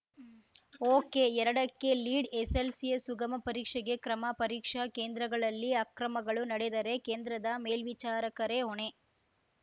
ಒಕೆಎರಡಕ್ಕೆ lead ಎಸ್ಸೆಸ್ಸೆಲ್ಸಿಯ ಸುಗಮ ಪರೀಕ್ಷೆಗೆ ಕ್ರಮ ಪರೀಕ್ಷಾ ಕೇಂದ್ರಗಳಲ್ಲಿ ಅಕ್ರಮಗಳು ನಡೆದರೆ ಕೇಂದ್ರದ ಮೇಲ್ವಿಚಾರಕರೇ ಹೊಣೆ